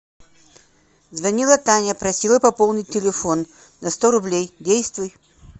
звонила таня просила пополнить телефон на сто рублей действуй